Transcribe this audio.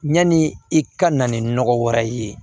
Yanni i ka na ni nɔgɔ wɛrɛ ye